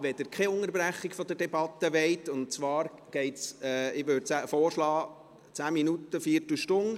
Ich würde vorschlagen, dass die Unterbrechung 10 bis 15 Minuten dauert.